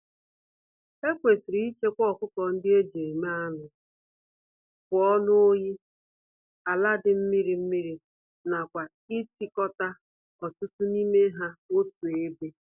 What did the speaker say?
Ekwesịrị ichekwa ọkụkọ-ndị-eji-eme-anụ pụọ n'oyi, àlà dị mmiri mmiri nakwa itikota ọtụtụ n'ime ha otú ébé